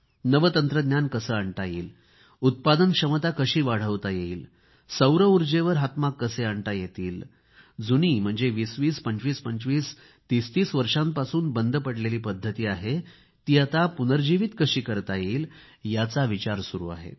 नवे तंत्रज्ञान कसे आणता येईल उत्पादन क्षमता कशी वाढवता येईल सौर ऊर्जेवर हातमाग कसे आणता येईल जुनी 20 20 2525 3030 वर्षांपासून बंद पडलेली पद्धती आहे ती आता पुनर्जीवित कशी करता येईल याचा विचार सुरू आहे